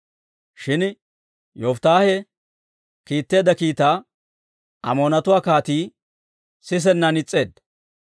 Shin Yofittaahe kiitteedda kiitaa Amoonatuwaa kaatii sisennan is's'eedda.